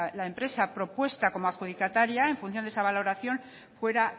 la empresa propuesta como adjudicataria en función de esa valoración fuera